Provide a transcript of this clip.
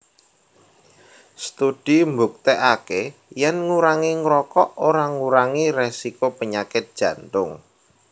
Studi mbuktèkaké yèn ngurangi ngrokok ora ngurangi résiko penyakit Jantung